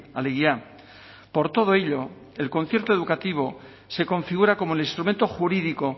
alegia por todo ello el concierto educativo se configura como el instrumento jurídico